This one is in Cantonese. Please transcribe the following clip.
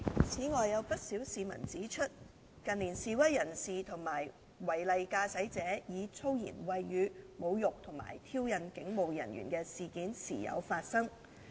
此外，有不少市民指出，近年示威人士及違例駕駛者以粗言穢語侮辱及挑釁警務人員的事件時有發生。